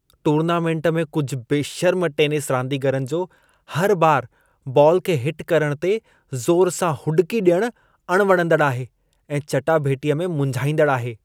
Tournament में कुझि बेशर्म टेनिस रांदीगरनि जो हर बार बाल खे हिट करण ते ज़ोर सां हुॾिकी ॾियण अणवणंदड़ आहे ऐं चटाभेटीअ में मुंझाईंदड़ आहे।